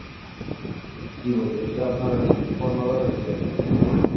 কি বলে দেশের আপনার ওই কর্ণধার হইতে আর কি.